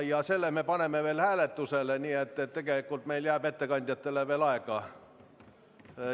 Ja selle me paneme hääletusele, nii et tegelikult jääb meil ettekandjatele veel aega.